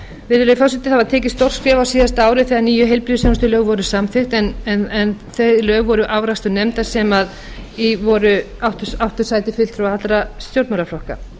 virðulegi forseti það var tekið stórt skref á síðasta ári þegar nýju heilbrigðisþjónustulögin voru samþykkt en þau lög voru afrakstur nefndar sem í áttu sæti fulltrúar allra stjórnmálaflokka